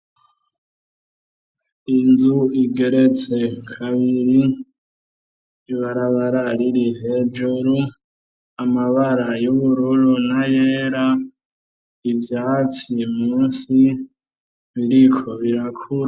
Inzu igeretse kabiri ibarabara riri hejuru, amabara y'ubururu nayera, ivyatsi munsi biriko birakura.